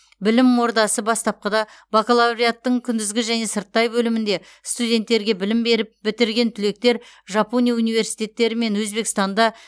білім ордасы бастапқыда бакалавриаттың күндізгі және сырттай бөлімнде студенттерге білім беріп бітірген түлектер жапония университеттері мен өзбекстанда